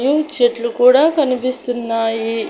చెట్లు కూడా కనిపిస్తున్నాయి.